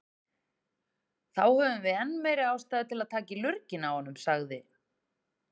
Þá höfum við enn meiri ástæðu til að taka í lurginn á honum, sagði